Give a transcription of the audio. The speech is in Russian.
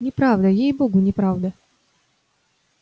неправда ей-богу неправда